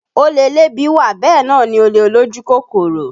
Olè elébi wà bẹ́ẹ̀ náà ni olè olójú kòkòrò